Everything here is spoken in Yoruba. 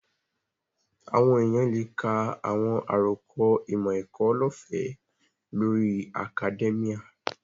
Àwọn èèyàn lè ka àwọn àròkọ ìmọ̀-ẹ̀kọ́ lọ́ọ̀fẹ́ lórí akadẹ́míà